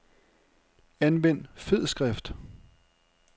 Anvend fed skrift.